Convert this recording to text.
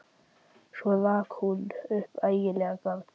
Svo rak hún upp ægilegt garg.